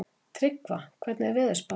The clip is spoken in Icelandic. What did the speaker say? Tryggva, hvernig er veðurspáin?